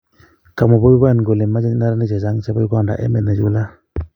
Kamwa Bobi Wine kole mache neranik chechang chebo Uganda emet nechulat